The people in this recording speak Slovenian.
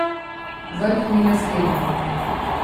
Vrh ni razgleden.